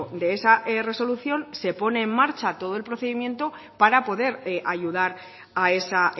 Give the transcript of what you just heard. de esa resolución se pone en marcha todo el procedimiento para poder ayudar a esa